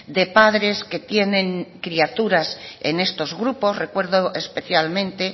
de padres que tienen criaturas en estos grupos recuerdo especialmente